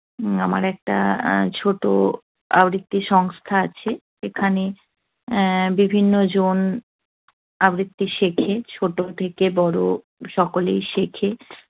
আমার একটা আহ ছোট আবৃত্তি সংস্থা আছে। সেখানে বিভিন্নজন আবৃত্তি শেখে। ছোট থেকে বড়। সকলেই শেখে।